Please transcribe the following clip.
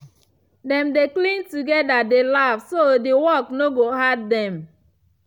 dem dey clean together dey laugh so de work no go hard dem.